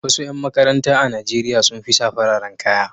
Wasu ƴan makaranta a Najeriya sun fi sa fararen kaya.